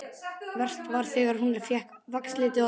Verst var þegar hún fékk vaxliti að gjöf.